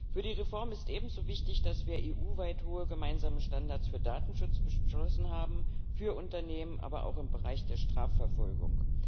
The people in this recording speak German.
Für die Reform ist ebenso wichtig, dass wir EU weit hohe gemeinsame Standards für Datenschutz beschlossen haben, für Unternehmen, aber auch im Bereich der Strafverfolgung.